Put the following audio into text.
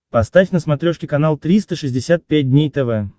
поставь на смотрешке канал триста шестьдесят пять дней тв